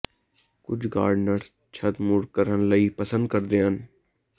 ਕੁਝ ਗਾਰਡਨਰਜ਼ ਛੱਤ ਮੁੜ ਕਰਨ ਲਈ ਪਸੰਦ ਕਰਦੇ ਹਨ